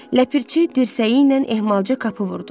Ləpirçi dirsəyi ilə ehmalca qapı vurdu.